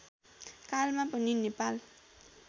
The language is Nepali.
कालमा पनि नेपाल